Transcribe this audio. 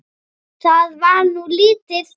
Það var nú lítið.